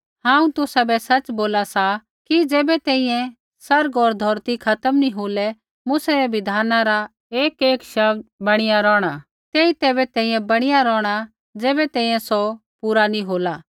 हांऊँ तुसाबै सच़ बोला सा कि ज़ैबै तैंईंयैं आसमान होर धौरती खत्म नी होलै मूसै रै बिधाना रा एकएक शब्द बणिया रौहणा तेई तैबै तैंईंयैं बणिया रौहणा ज़ैबै तैंईंयैं सौ पूरा नी होला